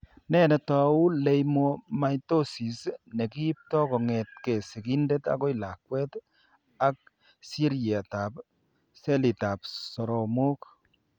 Nee netou Leiomyomatosis ne kiipto kong'etke sigindet akoi lakwet ak seriatab selitab soromok?